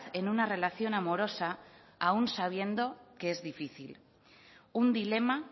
en una relación amorosa aun sabiendo que es difícil un dilema